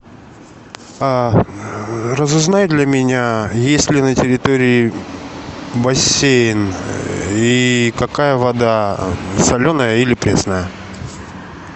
а разузнай для меня есть ли на территории бассейн и какая вода соленая или пресная